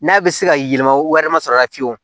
N'a bɛ se ka yɛlɛma wɛrɛ masɔrɔ fiyewu